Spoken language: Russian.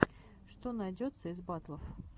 что найдется из батлов